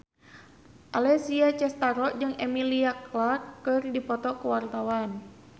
Alessia Cestaro jeung Emilia Clarke keur dipoto ku wartawan